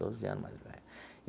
Doze anos mais velho.